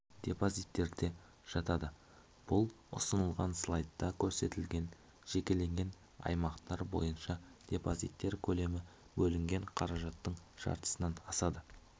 депозиттерде жатады бұл ұсынылған слайдта көрсетілген жекелеген аймақтар бойынша депозиттер көлемі бөлінген қаражаттың жартысынан асады